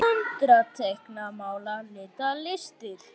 Föndra- teikna- mála- lita- listir